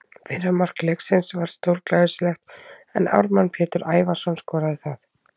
Fyrra mark leiksins var stórglæsilegt en Ármann Pétur Ævarsson skoraði það.